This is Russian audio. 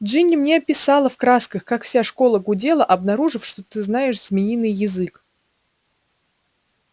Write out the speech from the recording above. джинни мне описала в красках как вся школа гудела обнаружив что ты знаешь змеиный язык